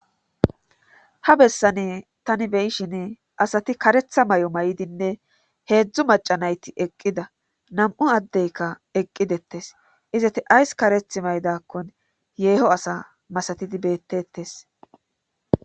ha bessani tani beyishin asati karetha mayo mayidinne heedzdzu macanayti eqqida nam'u addeykka eqqidettes izati ays kareth maydakkon yeeho asa masatidi bettetes